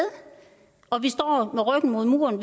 og at vi står med ryggen mod muren